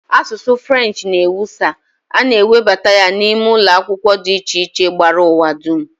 Asụsụ French n'ewusa, a na e webata ya n'ime ụlọ akwụkwọ dị iche iche gbara ụwa dum